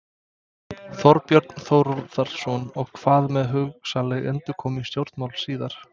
Þorbjörn Þórðarson: Og hvað með hugsanlega endurkomu í stjórnmál síðar?